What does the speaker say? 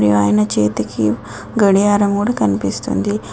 ఈ ఆయన చేతికి గడియారం గుడా కనిపిస్తుంది.